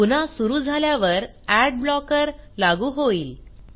पुन्हा सुरू झाल्यावर अड ब्लॉकर लागू होईल